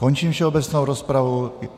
Končím všeobecnou rozpravu.